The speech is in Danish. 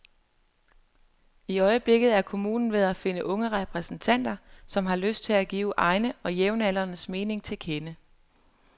I øjeblikket er kommunen ved at finde unge repræsentanter, som har lyst til at give egne og jævnaldrendes mening til kende.